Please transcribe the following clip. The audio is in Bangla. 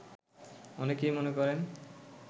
অনেকেই মনে করেন